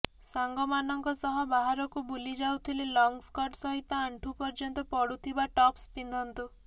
ସାଙ୍ଗମାନଙ୍କ ସହ ବାହାରକୁ ବୁଲିଯାଉଥିଲେ ଲଙ୍ଗ ସ୍କର୍ଟ ସହିତ ଆଣ୍ଠୁ ପର୍ଯ୍ୟନ୍ତ ପଡୁଥିବା ଟପ୍ସ ପିନ୍ଧନ୍ତୁ